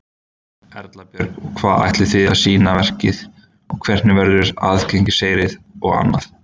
Erla Björg: Og hvað ætlið þið að sýna verkið og hvernig verður aðgangseyrir og annað?